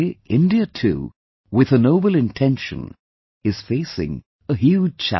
Today, India too, with a noble intention, is facing a huge challenge